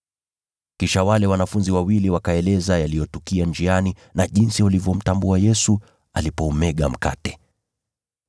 Kisha wale wanafunzi wawili wakaeleza yaliyotukia njiani na jinsi walivyomtambua Yesu alipoumega mkate.